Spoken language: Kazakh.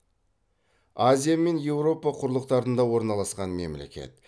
азия мен еуропа құрлықтарында орналасқан мемлекет